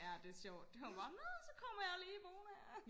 ja det sjovt det var bare nå så kommer jeg lige boende her